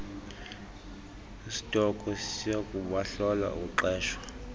isitokhwe siyakubahlola ukuqeshwa